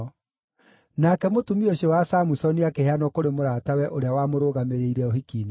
Nake mũtumia ũcio wa Samusoni akĩheanwo kũrĩ mũratawe ũrĩa wamũrũgamĩrĩire ũhiki-inĩ wake.